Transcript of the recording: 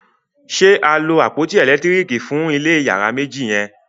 ṣe a lo àpótí elekitiriki fun ilé iyàrá méjì yen?